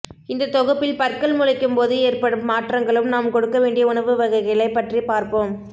இந்த தொகுப்பில் பற்கள் முளைக்கும் போது ஏற்படும் மாற்றங்களும் நாம் கொடுக்க வேண்டிய உணவு வகைகளை பற்றி பார்ப்போம்